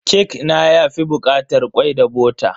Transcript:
Kek na yafi bukatar kwai da bota.